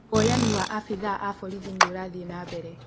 woyanĩ wa abithaa a borithi nĩ urathiĩ na mbere